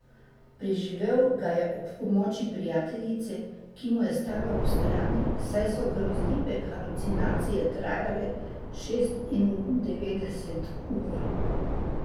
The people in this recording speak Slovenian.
Preživel ga je ob pomoči prijateljice, ki mu je stala ob strani, saj so grozljive halucinacije trajale šestindevetdeset ur.